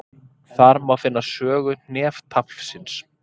Þar má finna sögu hneftaflsins.